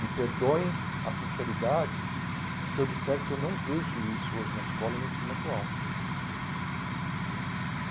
Me perdoem a sinceridade se eu disser que eu não vejo isso hoje na escola e no ensino atual.